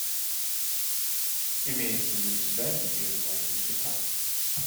имеется ли у тебя ее звали никита